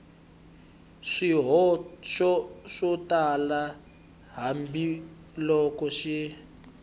swihoxo swo tala hambiloko xi